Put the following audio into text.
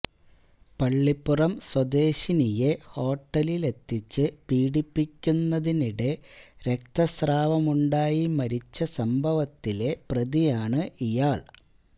പള്ളിപ്പുറം സ്വദേശിനിയെ ഹോട്ടലിലെത്തിച്ച് പീഡിപ്പിക്കുന്നതിനിടെ രക്തസ്രാവമുണ്ടായി മരിച്ച സംഭവത്തിലെ പ്രതിയാണ് ഇയാൾ